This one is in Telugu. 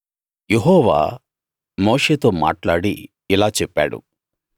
యెహోవా మోషేతో మాట్లాడి ఇలా చెప్పాడు